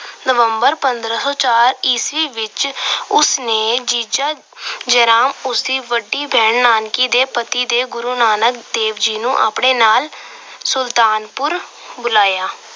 November ਪੰਦਰਾਂ ਸੌ ਚਾਰ ਈਸਵੀ ਵਿੱਚ ਉਸ ਨੇ ਜੀਜਾ ਜੈ ਰਾਮ ਉਸ ਦੀ ਵੱਡੀ ਭੈਣ ਨਾਨਕੀ ਦੇ ਪਤੀ ਦੇ ਗੁਰੂ ਨਾਨਕ ਦੇਵ ਜੀ ਨੂੰ ਆਪਣੇ ਨਾਲ ਸੁਲਤਾਪੁਰ ਬੁਲਾਇਆ।